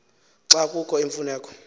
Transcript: xa kukho imfuneko